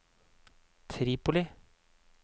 Tripoli